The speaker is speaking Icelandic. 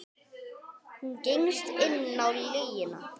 Hún gengst inn á lygina.